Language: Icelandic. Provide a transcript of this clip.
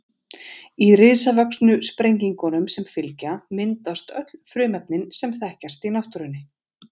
í risavöxnu sprengingunum sem fylgja myndast öll frumefnin sem þekkjast í náttúrunni